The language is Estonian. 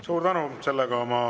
Suur tänu!